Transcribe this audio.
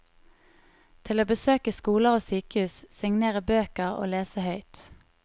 Til å besøke skoler og sykehus, signere bøker og lese høyt.